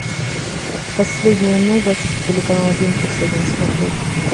последние новости телеканал один плюс один смотреть